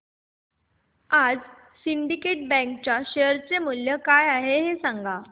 आज Syndicate Bank च्या share चे मूल्य काय आहे हे सांगा